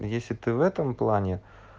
если ты в этом плане